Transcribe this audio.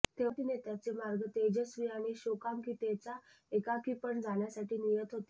तेव्हा तिने त्याचे मार्ग तेजस्वी आणि शोकांतिकेचा एकाकीपण जाण्यासाठी नियत होते